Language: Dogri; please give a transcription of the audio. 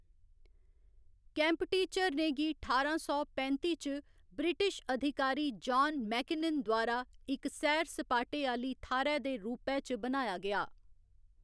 केम्पटी झरने गी ठारां सौ पैंत्ती च ब्रिटिश अधिकारी जान मेकिनन द्वारा इक सैर सपाटे आह्‌ली थाह्‌‌‌रै दे रूपै च बनाया गेआ।